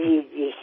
ঠিক ঠিক